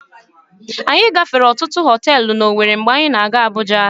Anyị gafere ọtụtụ họtelụ n'Owere mgbe anyị na-aga Abuja.